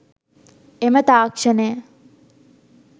එම තාක්ෂණය